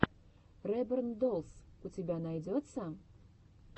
реборн доллс у тебя найдется